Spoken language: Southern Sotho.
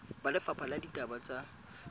ba lefapha la ditaba tsa